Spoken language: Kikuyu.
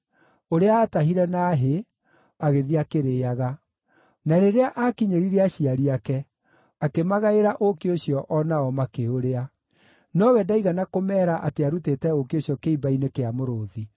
ũrĩa aatahire na hĩ, agĩthiĩ akĩrĩĩaga. Na rĩrĩa aakinyĩrire aciari ake, akĩmagaĩra ũũkĩ ũcio o nao makĩũrĩa. Nowe ndaigana kũmeera atĩ aarutĩte ũũkĩ ũcio kĩimba-inĩ kĩa mũrũũthi.